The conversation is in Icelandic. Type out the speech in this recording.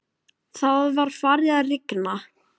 Það var farið að rigna.